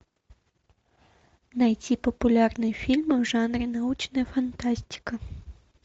найти популярные фильмы в жанре научная фантастика